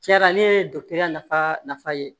Tiɲɛna ne ye nafa nafa ye